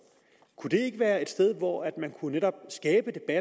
ikke være et sted hvor man netop